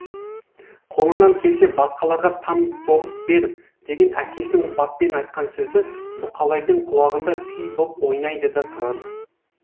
қолыңнан келсе басқаларға там соғып бер деген әкесінің баппен айтқан сөзі бұқалайдың құлағында күй боп ойнайды да тұрады